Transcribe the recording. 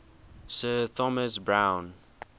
sir thomas browne